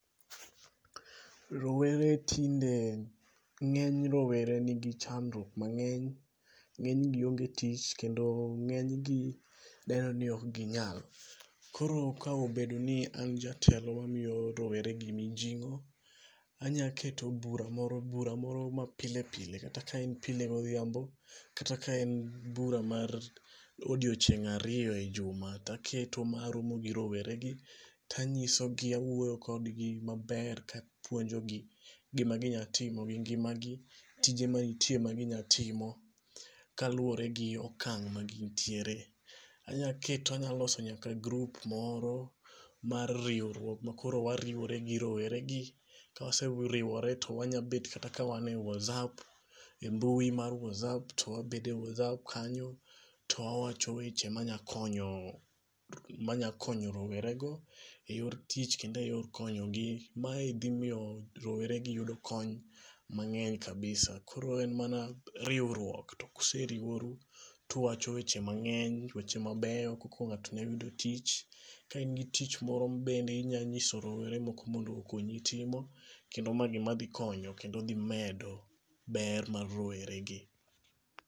Rowere tinde ng'eny rowere nigi chandruok mang'eny. Ng'eny gi onge tich. Kendo ng'eny gi ber ni ok ginyal. Koro ka obedo ni an jatelo mamiyo rowere gi mijing'o anya keto bura moro bura moro ma pilepile. Kata ke en pilke godhiambo. Kata ka en bura ma odioching' ariyo e juma. To aketo ma aromo gi rowere gi to anyiso gi awuoyo kodgi maber. Kapuonjo gi gima ginya timo gi ngimagi. Tije manitie ma ginya timo ka luwore gi okang' ma gintie. Anya keto anya loso nyaka group moro mar riwruok ma koro wariwore gio rowere gi. Kawaseriwore to wanyabet kata ka wan e Whatsapp embui mar Whatsapp. To wabede e Whatsapp kanyo to wa wacho weche ma nya konyo rowere go e yor tich kendo e yor konyogi. Ma dhi miyo rowere gi yudo kony mang'eny kabisa. Koro en mana riwruok. To kuseriworu tuwacho weche mang'eny weche mabeyo koko ng'ato nya yudo tich. Ka in gi tich moro bende inyasiso rowere moko mondo okonyi timo. Kendo ma gima dhi konyo kendo dhi medo ber mar rowere gi.